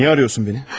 Niyə arıyorsun məni?